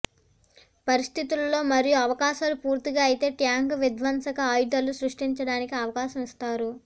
పరిస్థితులలో మరియు అవకాశాలు పూర్తిగా అయితే ట్యాంకు విధ్వంసక ఆయుధాలు సృష్టించడానికి అవకాశం ఇస్తారు